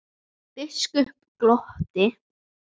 Biskup glotti.